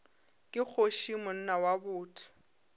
ke kgoši monna wa botho